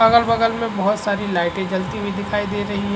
अगल-बलग में बहुत सारि लाइटे जलती हुई दिखायी दे रही हैं।